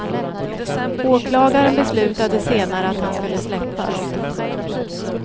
Åklagaren beslutade senare att han skulle släppas.